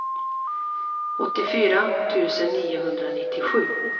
åttiofyra tusen niohundranittiosju